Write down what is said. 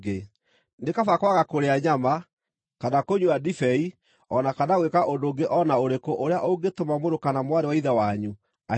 Nĩ kaba kwaga kũrĩa nyama, kana kũnyua ndibei o na kana gwĩka ũndũ ũngĩ o na ũrĩkũ ũrĩa ũngĩtũma mũrũ kana mwarĩ wa Ithe wanyu ahĩtithio.